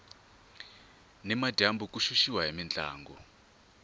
ni madyambu ku xuxiwa hi mintlangu